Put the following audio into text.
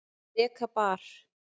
Reka bar